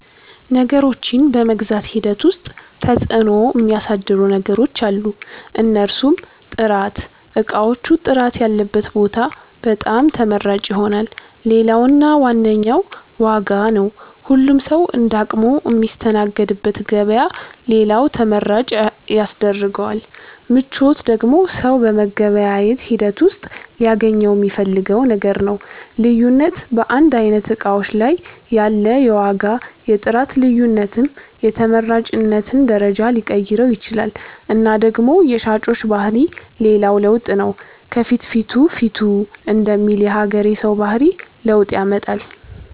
ነገሮችን በመግዛት ሂደት ዉስጥ ተፅዕኖ ሚያሣድሩ ነገሮች አሉ። እነርሡም፦ ጥራት እቃዎቹ ጥራት ያለበት ቦታ በጣም ተመራጭ ይሆናል። ሌላው እና ዋነኛው ዋጋ ነው ሁሉም ሠዉ እንደ አቅሙ ሚስተናገድበት ገበያ ሌላው ተመራጭ ያስደርገዋል። ምቾት ደግሞ ሠው በመገበያየት ሂደት ውሥጥ ሊያገኘው ሚፈልገው ነገር ነው። ልዩነት በአንድ አይነት እቃዎች ላይ ያለ የዋጋ የጥራት ልዮነትም የተመራጭነትን ደረጃ ሊቀይረው ይችላል እና ደግሞ የሻጮች ባህሪ ሌላው ለውጥ ነው ከፍትፊቱ ፊቱ ደሚል የሀገሬ ሠው ባህሪ ለውጥ ያመጣል።